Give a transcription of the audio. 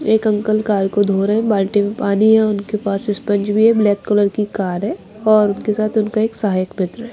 एक uncle car को धो रहे बाल्टी में पानी है उनके पास स्पंज भी है ब्लैक कलर की कार है और उनके साथ उनका एक सहायक मित्र है।